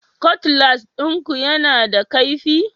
Cutlass ɗinku yana da kaifi?